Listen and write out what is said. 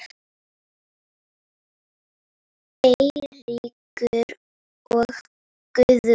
Eiríkur og Guðrún.